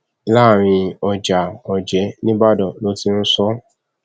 láàrin ọjà ọjẹ nìbàdàn ló ti ń sọ ọ